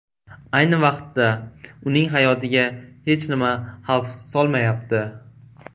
Ayni vaqtda uning hayotiga hech nima xavf solmayapti.